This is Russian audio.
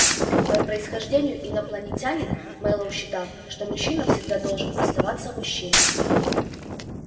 по происхождению инопланетянин мэллоу считал что мужчина всегда должен оставаться мужчиной